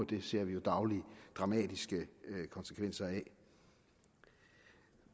det ser vi dagligt dramatiske konsekvenser af